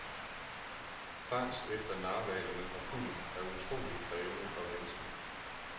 Fangst efter narhvaler med harpun er utroligt krævende og vanskelig.